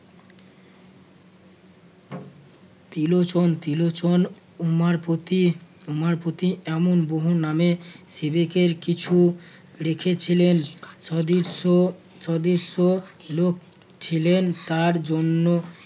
ত্রিলোচন~ ত্রিলোচন উমাপতি উমাপতি এমন বহু নামে সিবিকের কিছু লিখেছিলেন। সদৃশ্য ~ সদৃশ্য লোক ছিলেন তার জন্য